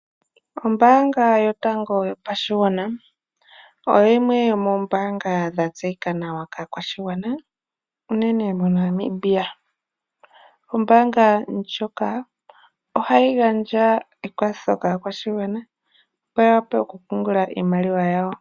Ombanga yotango yopashigwana oyo yimwe yomombanga dhatseyika nawa kaakwashigwana unene moNamibia. Ombanga ndjoka ohayi gandja ekwatho kaakwashigwana opo ya wape oku pungula iimaliwa yawo.